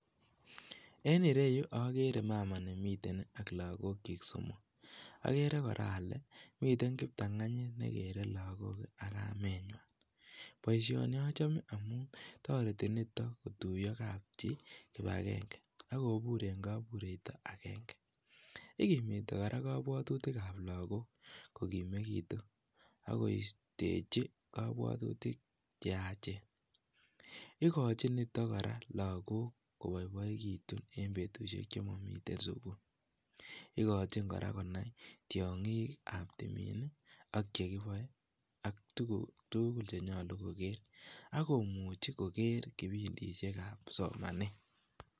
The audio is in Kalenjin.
En ireyu okere mama nemiten AK lakokyik somok, okere kora ole miten kiptong'onyit nekere lokochu ak kamenyin, boishoni achome amun toreti niton kotuyo kapchi kibakenge ak kobur en kobureito akeng'e, ikimiti kora kobwotutikab lokok kokimekitu ak koistechi kobwotutik cheyachen, ikochin niton kora lokok koboiboikitun en betushek chemomiten sukul, ikochin kora konai tiong'ikab timiin ak chekiboe ak tukuk tukul chenyolu koker ak komuchi koker kipindishekab somanet.